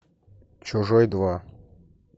чужой два